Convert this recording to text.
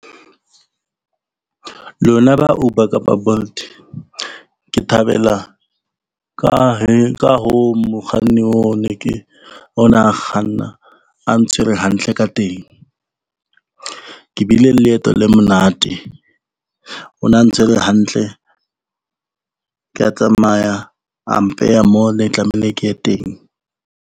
Lona ba Uber kapa Bolt ke thabela ka hare ho mokganni ona a kganna a ntshwere hantle ka teng. Ke bile le leeto le monate, o ne a ntshwere hantle, kea tsamaya a mpeha moo ne tlamehile ke ye teng.